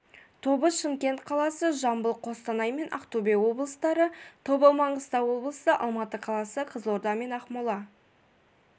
тобы шымкент қаласы жамбыл қостанай мен ақтөбе облыстары тобы маңғыстау облысы алматы қаласы қызылорда мен ақмола